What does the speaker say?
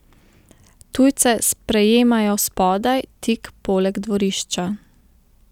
Tujce sprejemajo spodaj, tik poleg dvorišča.